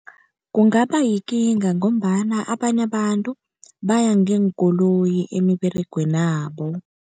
Kungaba yikinga ngombana abanye abantu baya ngeenkoloyi emiberegwenabo.